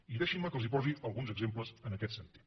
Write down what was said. i deixin me que els posi alguns exemples en aquest sentit